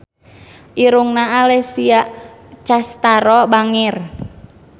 Irungna Alessia Cestaro bangir